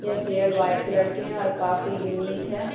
यह chair white colour के है और काफी यूनिक है।